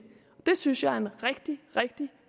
synes jeg er en rigtig rigtig